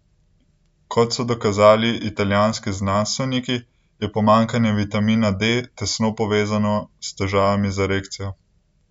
Kot so dokazali italijanski znanstveniki, je pomanjkanje vitamina D tesno povezano s težavami z erekcijo.